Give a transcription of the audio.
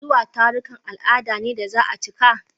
Zuwa tarurrukan al'ada ne da za a cika.